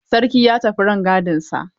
Sarki ya tafi rangadin yankinsa.